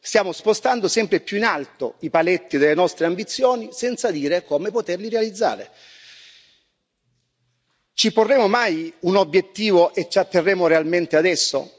Stiamo spostando sempre più in alto i paletti delle nostre ambizioni senza dire come poterli realizzare. Ci porremo mai un obiettivo e ci atterremo realmente ad esso?